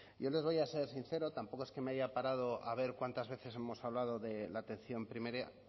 yo les voy a ser sincero tampoco es que me haya parado a ver cuántas veces hemos hablado de la atención primaria